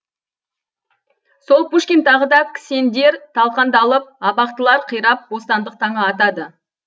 сол пушкин тағы да кісендер талқандалып абақтылар қирап бостандық таңы атады